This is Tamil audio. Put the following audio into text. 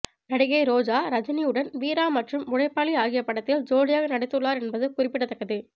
நடிகை ரோஜா ரஜினியுடன் வீரா மற்றும் உழைப்பாளி ஆகிய படத்தில் ஜோடியாக நடித்துள்ளார் என்பது குறிப்பிடத்தக்கது